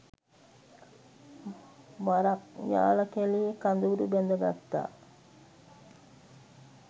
වරක් යාල කැලයේ කඳවුරු බැද ගත්තා.